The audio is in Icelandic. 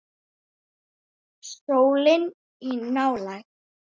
Sólin í nálægð.